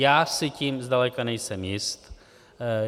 Já si tím zdaleka nejsem jist.